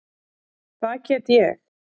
Það get ég.